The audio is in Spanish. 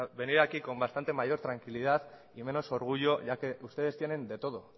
venir aquí con bastante mayor tranquilidad y menos orgullo ya que ustedes tienen de todo